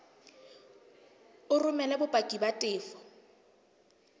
o romele bopaki ba tefo